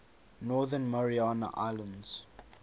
northern mariana islands